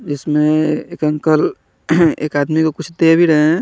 इसमे एक अंकल एक आदमी को कुछ दे भी रहे है।